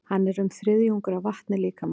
Hann er um þriðjungur af vatni líkamans.